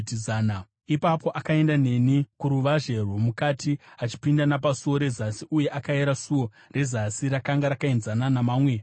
Ipapo akaenda neni kuruvazhe rwomukati achipinda napasuo rezasi, uye akayera suo rezasi; rakanga rakaenzana namamwe pakuyera.